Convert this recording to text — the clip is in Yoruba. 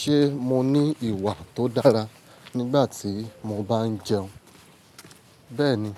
Ṣé mo ní ìwà tó dára nígbà tí mo bá ń jẹun? Bẹ́ẹ̀ni,